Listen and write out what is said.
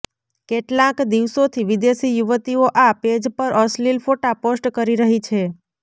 કેટલાંક દિવસોથી વિદેશી યુવતીઓ આ પેજ પર અશ્લીલ ફોટા પોસ્ટ કરી રહી છે